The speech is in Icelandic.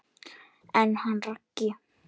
En hann Raggi?